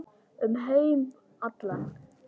Um heim allan.